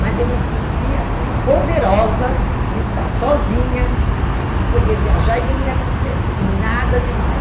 Mas eu me senti, assim, poderosa de estar sozinha, de poder viajar e de não me acontecer nada de mal.